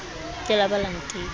ke la ba la nteka